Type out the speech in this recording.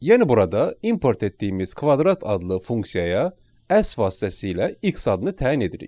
Yəni burada import etdiyimiz kvadrat adlı funksiyaya as vasitəsilə x adını təyin edirik.